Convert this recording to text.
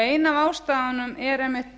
ein af ástæðunum er einmitt